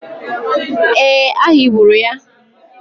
Ee, a higburu ya.